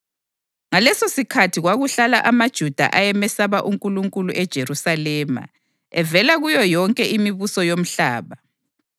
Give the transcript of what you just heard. Ngalesosikhathi kwakuhlala amaJuda ayemesaba uNkulunkulu eJerusalema, evela kuyo yonke imibuso yomhlaba.